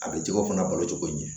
A bɛ jɛgɛ ko fana balo cogo ɲɛ